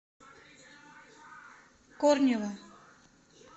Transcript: корнева